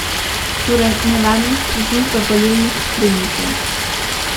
Torej, nevarnost preži v volilnih skrinjicah.